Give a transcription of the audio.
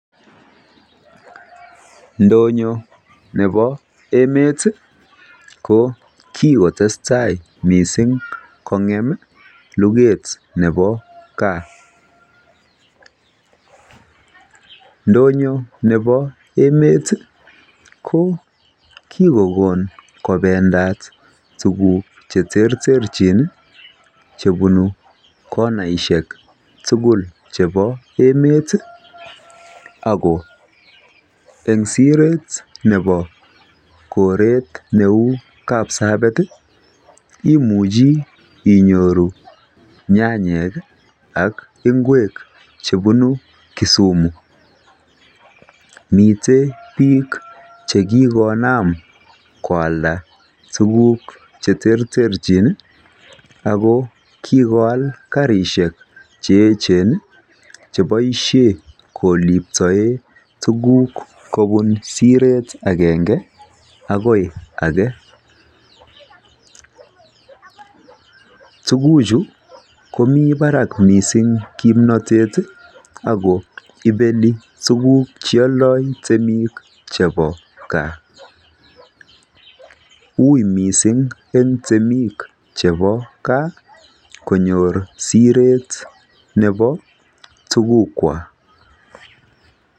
Ndonyon ne bo emet ko kikotestai kong'em luget ne bo gaa. Ndonyon ne bo emet ko kikokon kobendat tuguk cheterterchin chebunu konaishek tugul chebo emet ako eng siret ne bo koret neu Kapsabet imuchi inyoru nyanyek ak ngwek chebunu Kisumu. miten biik chekikonam koalda tuguk cheterterchin ii, ako kikoal karisiek che echen ii cheboisien koliptoen tuguk kobun siret agenge akoi age, tuguchu komii barak missing kipnotet ago ibeni tuguk chealdo temik chebo gaa ui missing en temik chebo gaa konyor siret ne bo tugukwak.